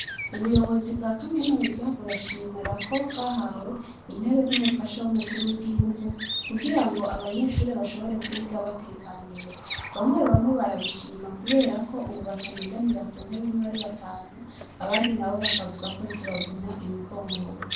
Ubuyobozi bwa kaminuza burashimirako bwahawe intebe n'umufasha w'umukuru w'igihugu kugira ngo abanyeshure bashobore kwiga batekaniwe bamwe bamwe barabishima kuberako ububataniganira ku ntebimwe ari batanu abandi na bo bakavuga ko zibavuna imigongo.